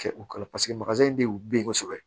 Kɛ u kala paseke de y'u den kosɛbɛ